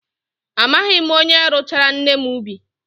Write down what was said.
Amaghị m onye rụchaara nne m ubi.